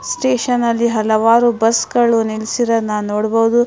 ಸ್ಟೇಷನ್ನಲ್ಲಿ ಹಲವಾರು ಬಸ್ಗಳು ನಿಲಿಸಿದನ್ನ ನೋಡಬಹುದು.